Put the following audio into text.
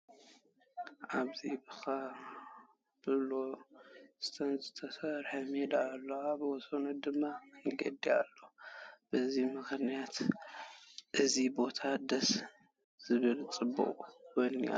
ኣብዚ ብኮብል ስቶን ዝተሰርሐ ሜዳ ኣሎ፡፡ ኣብ ወሰኑ ድማ መድረኻት ኣለዉ፡፡ በዚ ምኽንያት እዚ ቦታ ደስ ዝብል ፅባቐ ወኒኑ ኣሎ፡፡